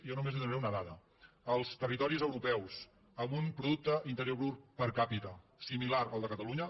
jo només li donaré una dada als territoris europeus amb un producte interior brut per capita similar al de catalunya